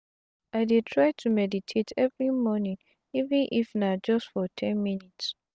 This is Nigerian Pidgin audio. i dey try to meditate everi mornin even if na just for ten minutes.